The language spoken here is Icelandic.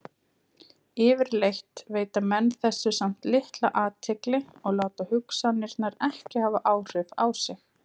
Yfirleitt veita menn þessu samt litla athygli og láta hugsanirnar ekki hafa áhrif á sig.